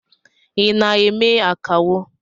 I na eme akawo?